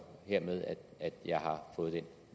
hermed at jeg har fået